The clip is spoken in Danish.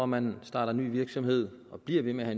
man starter ny virksomhed og bliver ved med at